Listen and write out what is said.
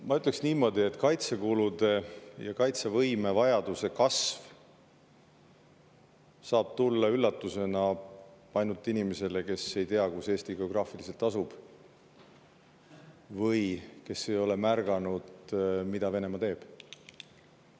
Ma ütleks niimoodi, et kaitsekulude ja kaitsevõime kasvu vajadus saab tulla üllatusena ainult inimesele, kes ei tea, kus Eesti geograafiliselt asub, või kes ei ole märganud, mida Venemaa teeb.